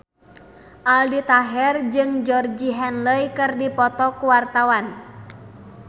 Aldi Taher jeung Georgie Henley keur dipoto ku wartawan